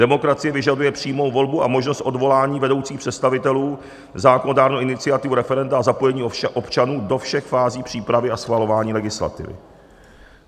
Demokracie vyžaduje přímou volbu a možnost odvolání vedoucích představitelů, zákonodárnou iniciativu, referenda a zapojení občanů do všech fází přípravy a schvalování legislativy."